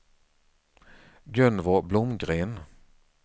Gunvor Blomgren